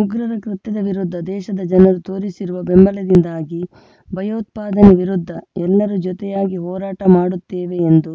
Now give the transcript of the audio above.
ಉಗ್ರರ ಕೃತ್ಯದ ವಿರುದ್ಧ ದೇಶದ ಜನರು ತೋರಿಸಿರುವ ಬೆಂಬಲದಿಂದಾಗಿ ಭಯೋತ್ಪಾದನೆ ವಿರುದ್ಧ ಎಲ್ಲರೂ ಜೊತೆಯಾಗಿ ಹೋರಾಟ ಮಾಡುತ್ತೇವೆ ಎಂದು